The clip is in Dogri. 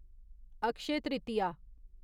अक्षय तृतीय